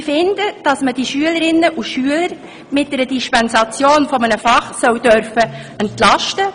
Ich finde, dass man die Schülerinnen und Schüler mit der Dispensation von einem Fach entlasten dürfen muss.